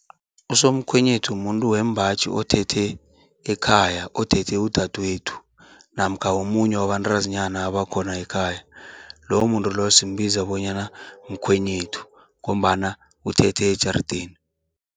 Usomkhwenyethu mumuntu wembaji othethe ekhaya, othethe udadwethu namkha womunye wabantazinyana abakhona ekhaya, lowo muntu loyo simbiza bonyana mkhwenyethu ngombana uthethe ejarideni.